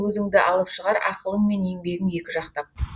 өзіңді алып шығар ақылың мен еңбегің екі жақтап